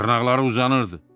Dırnaqları uzanırdı.